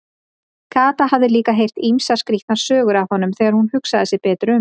Kata hafði líka heyrt ýmsar skrýtnar sögur af honum þegar hún hugsaði sig betur um.